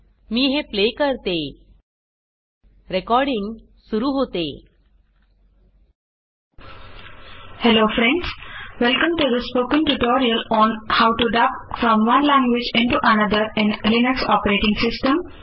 मी हे प्ले करते160 रेकॉर्डिंग सुरू होते